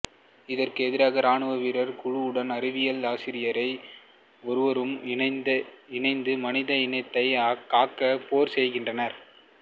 இதற்கு எதிராக ராணுவ வீரர் குழுவுடன் அறிவியல் ஆசிரியை ஒருவரும் இணைந்து மனித இனத்தை காக்க போர் செய்கின்றனர்